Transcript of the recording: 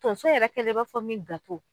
Tonso yɛrɛ kɛlen b'a fɔ min